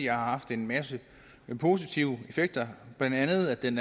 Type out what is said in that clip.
haft en masse positive effekter blandt andet er den